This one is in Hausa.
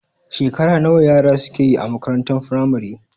Shekara nawa yara suke yi a makarantar firamare?